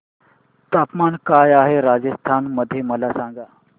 तापमान काय आहे राजस्थान मध्ये मला सांगा